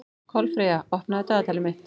Kolfreyja, opnaðu dagatalið mitt.